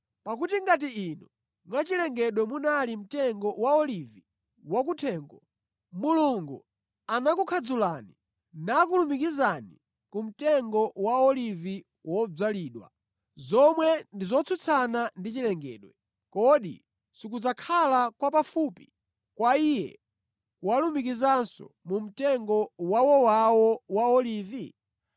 Pakuti ngati inu, mwa chilengedwe munali mtengo wa olivi wa kuthengo, Mulungu anakukhadzulani nakulumikizani ku mtengo wa olivi wodzalidwa, zomwe ndi zotsutsana ndi chilengedwe, kodi sikudzakhala kwapafupi kwa Iye kuwalumikizanso mu mtengo wawowawo wa olivi?